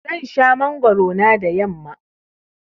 Zan sha mangwaro na da yamma.